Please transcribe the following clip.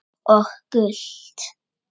Og gult?